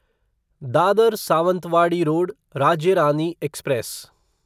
Dadar Sawantwadi road Rajya Rani express